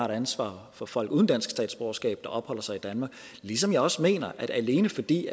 ansvar for folk uden dansk statsborgerskab der opholder sig i danmark ligesom jeg også mener at vi alene fordi